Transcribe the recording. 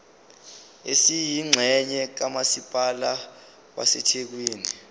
esiyingxenye kamasipala wasethekwini